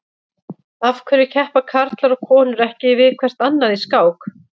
Af hverju keppa karlar og konur ekki við hvert annað í skák?